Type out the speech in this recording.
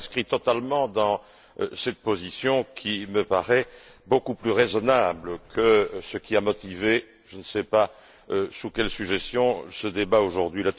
Je m'inscris totalement dans cette position, qui me paraît beaucoup plus raisonnable que ce qui a motivé je ne sais pas sur la suggestion de qui ce débat aujourd'hui.